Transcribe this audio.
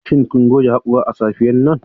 Shin kun goge haƙora a safiyar nan?